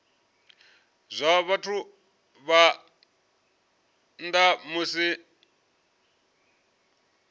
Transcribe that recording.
zwa vhathu phanḓa ha musi